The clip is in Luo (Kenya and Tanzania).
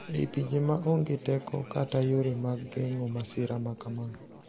E I pinje ma onge teko kata yore mag geng`o masira ma kama